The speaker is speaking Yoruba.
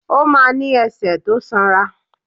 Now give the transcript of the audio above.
Ó ma ní ẹsẹ̀ tó sanra.